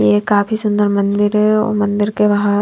ये काफी सुंदर मंदिर हैं और मंदिर के बाहर--